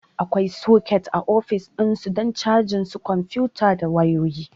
Akwai soket a ofis don cajin su kwamfuta da wayoyi